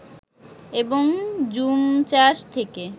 এবং জুমচাষ থেকে